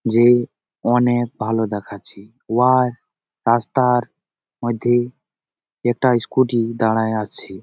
যে অনেক ভালো দেখাচ্ছে ।ওয়ার রাস্তার মধ্যে একটা স্কুটি দাড়ায়ে আছে ।